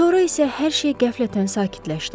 Sonra isə hər şey qəflətən sakitləşdi.